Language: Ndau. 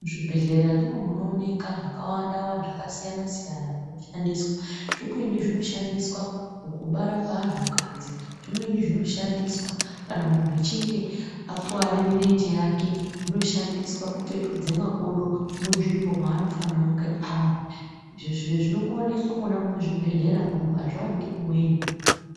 Muzvibhedhlera ndimo munooneka zvakawanda-wanda, zvakasiyana-siyana zveshandiswa. Zvimweni zvinoshandiswa mukubara kweantu kadzi. Zvimweni zvinoshandiswa kana muntu aechinge akuvare mirenje yake. Zvinoshandiswa kupetudze makodo munzvimbo maanofanire kunge ari. Izvi zviro zvinongoonekwa mona muzvibhedhleramwo hazvivaniki kumweni.